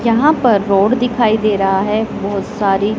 यहां पर रोड दिखाई दे रहा है बहोत सारी--